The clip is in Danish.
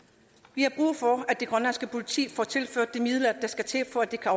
vi har brug for at det grønlandske politi får tilført de midler der skal til for at de kan